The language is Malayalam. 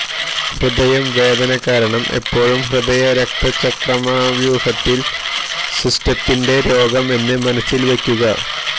ഹൃദയം വേദന കാരണം എപ്പോഴും ഹൃദയ രക്തചംക്രമണവ്യൂഹത്തിൻ സിസ്റ്റത്തിന്റെ രോഗം എന്ന് മനസിൽ വയ്ക്കുക